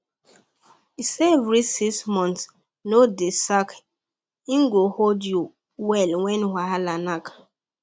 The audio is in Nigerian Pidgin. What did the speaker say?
save reach six months no dey slack e go hold you well when wahala knack